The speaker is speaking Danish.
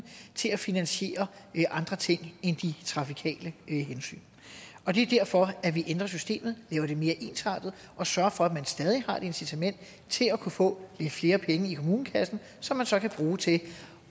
til at finansiere andre ting end de trafikale hensyn det er derfor at vi ændrer systemet laver det mere ensartet og sørger for at man stadig har et incitament til at kunne få lidt flere penge i kommunekassen som man så kan bruge til